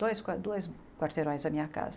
Dois qua duas quarteirões da minha casa.